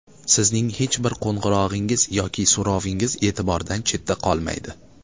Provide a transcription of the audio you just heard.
Sizning hech bir qo‘ng‘irog‘ingiz yoki so‘rovingiz e’tibordan chetda qolmaydi.